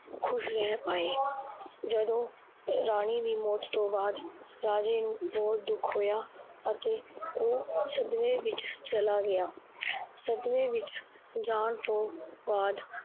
ਖੁਸ਼ ਰੇਹ ਪਾਏ l ਜਦੋ ਰਾਣੀ ਦੀ ਮੌਤ ਤੋਂ ਬਾਦ ਰਾਜੇ ਨੂੰ ਬਹੁਤ ਦੁਖ ਹੋਏਆ ਅਤੇ ਓਹ ਸਦਮੇ ਵਿੱਚ ਚੱਲਾ ਗਿਆ। ਸਦਮੇ ਵਿੱਚ ਜਾਣ ਤੋਂ ਬਾਦ